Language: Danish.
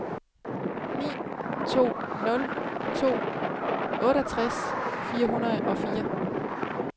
ni to nul to otteogtres fire hundrede og fire